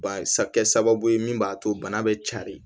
Ban kɛ sababu ye min b'a to bana bɛ cari